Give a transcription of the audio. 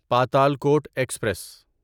Patalkot express